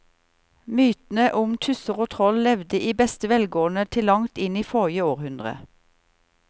Mytene om tusser og troll levde i beste velgående til langt inn i forrige århundre.